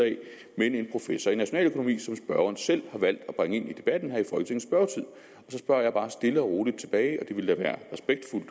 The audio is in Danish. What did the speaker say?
men en professor i nationaløkonomi som spørgeren selv har valgt at bringe ind i debatten her og så spørger jeg bare stille og roligt tilbage og det ville da være respektfuldt